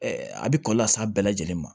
a bɛ kɔlɔlɔ las'a bɛɛ lajɛlen ma